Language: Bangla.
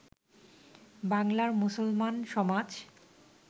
বাঙলার মুসলমান সমাজ